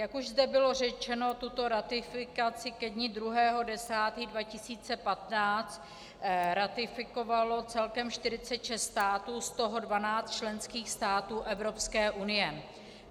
Jak už zde bylo řečeno, tuto ratifikaci ke dni 2. 10. 2015 ratifikovalo celkem 46 států, z toho 12 členských států Evropské unie.